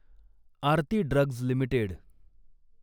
Aarti drugs limited